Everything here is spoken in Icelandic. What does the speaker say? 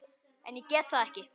En ég get það ekki.